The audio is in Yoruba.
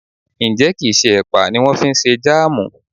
Ǹjẹ́ kì ń ṣe ẹ̀pà ni wón fi ṣe Jáàmù?